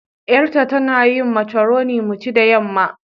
Yar ta, tana yin macoroni mu ci da yamma.